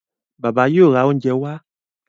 Bàbá yóò rá oúnjẹ wá.